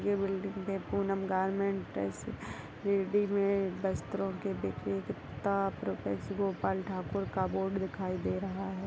ये बिल्डिंग मे Poonam garment tax readymade वस्त्रों के विक्रेता प्रोफेस प्रोफेसर गोपाल ठाकुर का बोर्ड दिखाई दे रहा है।